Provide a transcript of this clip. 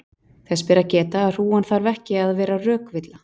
þess ber að geta að hrúgan þarf ekki að vera rökvilla